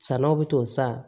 Salon bɛ to sa